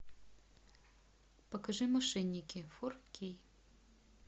покажи мошенники фор кей